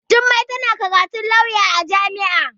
Jummai tana karatun lauya a jami'a.